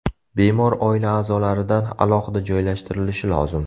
Bemor oila a’zolaridan alohida joylashtirilishi lozim.